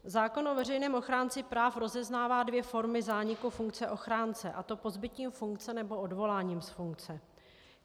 Zákon o veřejném ochránci práv rozeznává dvě formy zániku funkce ochránce, a to pozbytím funkce nebo odvoláním z funkce.